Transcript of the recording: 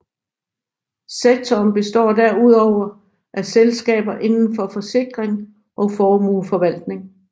Sektoren består derudover af selskaber inden for forsikring og formueforvaltning